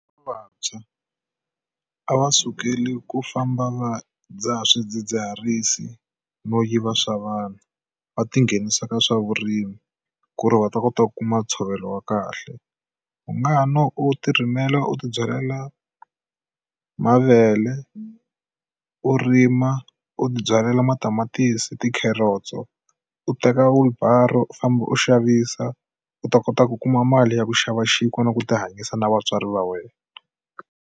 Vantshwa a va sukeli ku famba va dzaha swidzidziharisi no yiva swa vanhu va tinghenisa ka swa vurimi ku ri va ta kota ku kuma ntshovelo wa kahle u nga ha na u tirimela u ti byalela mavele u rima u tibyalela matamatisi ti carrots u teka uber u famba u xavisa u ta kota ku kuma mali ya ku xava xinkwa na ku ti hanyisa na vatswari va wena